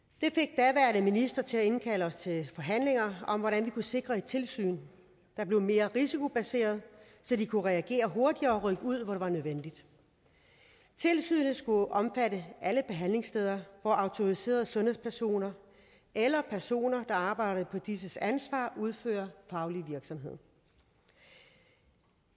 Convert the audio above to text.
det minister til at indkalde os til forhandlinger om hvordan vi kunne sikre et tilsyn der blev mere risikobaseret så de kunne reagere hurtigere og rykke ud hvor det var nødvendigt tilsynet skulle omfatte alle behandlingssteder hvor autoriserede sundhedspersoner eller personer der arbejder på disses ansvar udfører faglig virksomhed